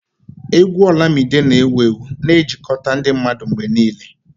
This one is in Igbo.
Égwù Olamide na ewuewu na-ejikọta ndị mmadụ mgbe niile.